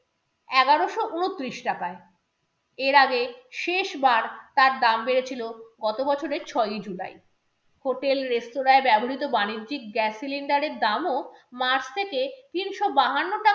এগারোশো উনত্রিশ টাকায়। এর আগে শেষবার তার দাম বেড়েছিল গত বছরের ছয়ই july hotel রেস্তোরায় ব্যবহৃত বাণিজ্যিক gas cylinder এর দামও march থেকে তিনশো বাহান্ন টাকায়